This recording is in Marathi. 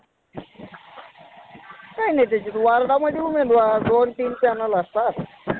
काय नाही वार्डामध्ये उमेदवार दोन तीन panel असतात